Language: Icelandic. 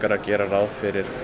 að gera ráð fyrir